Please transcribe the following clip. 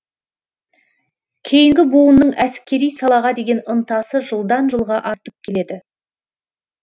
кейінгі буынның әскери салаға деген ынтасы жылдан жылға артып келеді